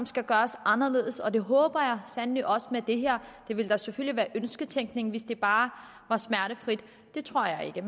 skal gøres anderledes det håber jeg sandelig også med det her det ville da selvfølgelig være ønsketænkning hvis det bare var smertefrit det tror jeg ikke